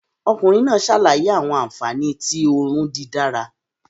Ọkunrin naa ṣalaye awọn anfani ti oorun didara